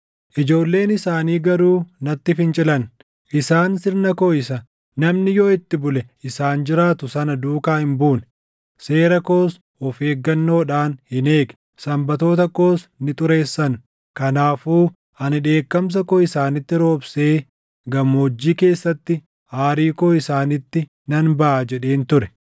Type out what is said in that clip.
“ ‘Ijoolleen isaanii garuu natti fincilan; isaan sirna koo isa, “Namni yoo itti bule isaan jiraatu” sana duukaa hin buune; seera koos of eeggannoodhaan hin eegne. Sanbatoota koos ni xureessan. Kanaafuu ani dheekkamsa koo isaanitti roobsee gammoojjii keessatti aarii koo isaanitti nan baʼa jedheen ture.